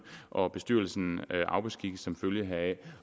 og bestyrelsen afbeskikkes som følge heraf